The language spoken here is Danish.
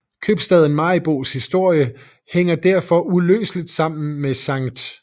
Købstaden Maribos historie hænger derfor uløseligt sammen med Skt